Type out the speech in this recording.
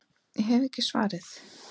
Ég hef ekki svarið.